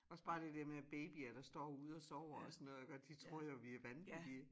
Også bare det dér med at babyer der står ude og sover og sådan noget iggå de tror jo vi er vanvittige